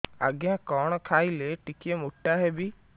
ଆଜ୍ଞା କଣ୍ ଖାଇଲେ ଟିକିଏ ମୋଟା ହେବି